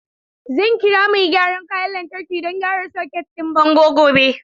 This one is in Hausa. Zan kira mai gyaran kayan lantarki don gyara soket ɗin bango gobe.